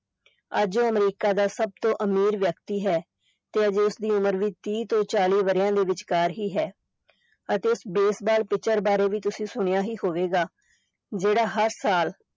ਅੱਜ ਉਹ ਅਮਰੀਕਾ ਦਾ ਸਭ ਤੋਂ ਅਮੀਰ ਵਿਅਕਤੀ ਹੈ ਤੇ ਅਜੇ ਉਸ ਦੀ ਉਮਰ ਵੀ ਤੀਹ ਤੋਂ ਚਾਲੀ ਵਰਿਆਂ ਦੇ ਵਿਚਕਾਰ ਹੀ ਹੈ ਅਤੇ ਉਸ ਬੇਸਬਾਲ ਪਿਚਰ ਬਾਰੇ ਵੀ ਤੁਸੀਂ ਸੁਣਿਆ ਹੀ ਹੋਵੇਗਾ ਜਿਹੜਾ ਹਰ ਸਾਲ